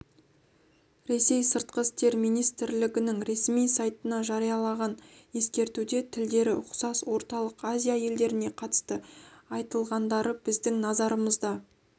ресейсыртқы істер министрлігінің ресми сайтына жарияланған ескертуде тілдері ұқсас орталық азия елдеріне қатысты айтылғандары біздің назарымызды